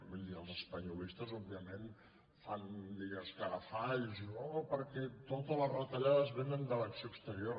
vull dir els espanyolistes fan escarafalls i diuen oh perquè totes les retallades vénen de l’acció exterior